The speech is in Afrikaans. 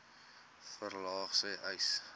verlaag sê uys